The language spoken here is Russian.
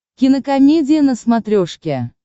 кинокомедия на смотрешке